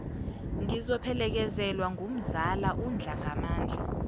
ngizophelekezelwa ngumzala undlangamandla